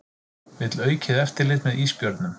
Vill aukið eftirlit með ísbjörnum